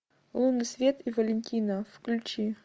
лунный свет и валентино включи